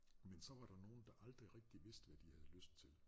Men så var der nogle der aldrig rigtigt vidste hvad de havde lyst til